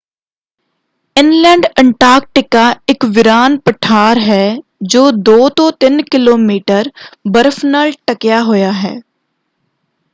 Inland Antarctica ਇੱਕ ਵੀਰਾਨ ਪਠਾਰ ਹੈ ਜੋ 2-3 ਕਿਲੋਮੀਟਰ ਬਰਫ਼ ਨਾਲ ਢੱਕਿਆ ਹੋਇਆ ਹੈ।